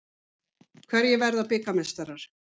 Hverjir verða bikarmeistarar?